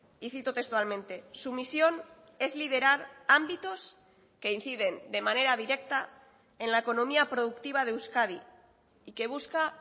y cito textualmente su misión es liderar ámbitos que inciden de manera directa en la economía productiva de euskadi y que busca